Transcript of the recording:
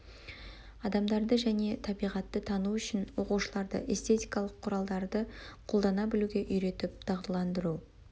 адамдарды және табиғатты тану үшін оқушыларды эстетикалық құралдарды қолдана білуге үйретіп дағдыландыру